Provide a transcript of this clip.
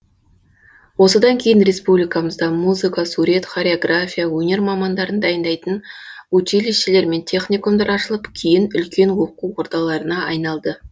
осыдан кейін республикамызда музыка сурет хореография өнер мамандарын дайындайтын училищелер мен техникумдар ашылып кейін үлкен оқу ордаларына айналды